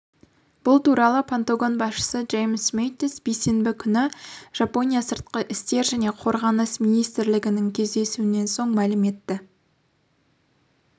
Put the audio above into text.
бұл туралы пентагон басшысы джеймс мэттис бейсенбі күні пен жапония сыртқы істер және қорғаныс министлерінің кездесуінен соң мәлім етті